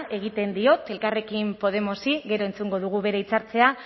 egiten diot elkarrekin podemosi gero entzungo dugu bere hitzaldia